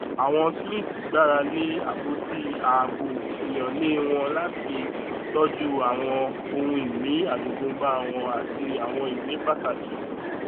àwọn smiths gbára lé apoti ààbò ìyánlá wọn láti tọju àwọn ohunìní ajogúnbá wọn àti àwọn ìwé pàtàkì